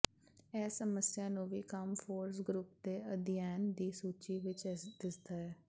ਇਹੀ ਸਮੱਸਿਆ ਨੂੰ ਵੀ ਕੰਮ ਫੋਕਸ ਗਰੁੱਪ ਦੇ ਅਧਿਐਨ ਦੀ ਸੂਚੀ ਵਿੱਚ ਦਿਸਦਾ ਹੈ